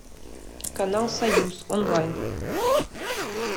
канал союз онлайн